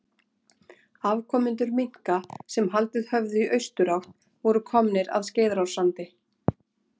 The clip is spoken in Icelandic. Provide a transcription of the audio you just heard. Afkomendur minka sem haldið höfðu í austurátt voru komnir að Skeiðarársandi.